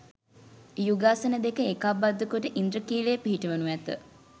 යුගාසන දෙක ඒකාබද්ධ කොට ඉන්ද්‍රඛිලය පිහිටවනු ඇත.